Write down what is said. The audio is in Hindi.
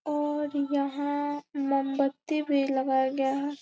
और यहाँ मोमबत्ती भी लगाया गया है।